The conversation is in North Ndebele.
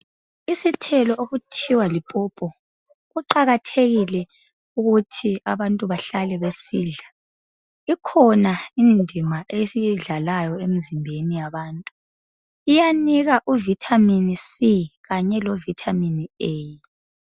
Isithelo okuthiwa lipawpaw kuqakathekile ukuthi abantu behlale besidla ikhona sidlala indima esiyidlalayo emzimbeni yabantu siyanika vitamin c kanye lo vitamin A